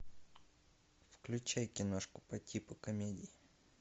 включай киношку по типу комедии